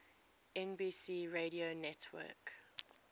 nbc radio network